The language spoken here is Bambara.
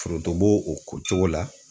Foronto b'o o ko cogo la.